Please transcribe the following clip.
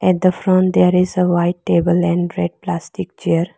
At the front there is a white table and red plastic chair.